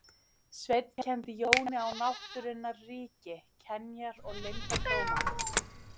Sveinn kenndi Jóni á náttúrunnar ríki, kenjar og leyndardóma.